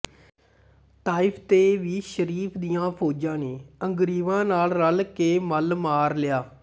Taif ਤੇ ਵੀ ਸ਼ਰੀਫ਼ ਦੀਆਂ ਫ਼ੌਜਾਂ ਨੇ ਅੰਗੁਰੀਵਾਂ ਨਾਲ਼ ਰਲ਼ ਕੇ ਮੱਲ ਮਾਰ ਲਿਆ